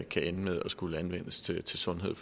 kan ende med at skulle anvendes til til sundhed